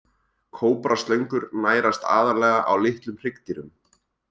Kóbraslöngur nærast aðallega á litlum hryggdýrum.